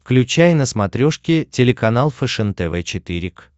включай на смотрешке телеканал фэшен тв четыре к